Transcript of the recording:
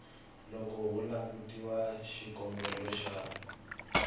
loko ku langutiwa xikombelo xa